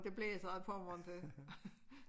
Det blæser ad Pommern til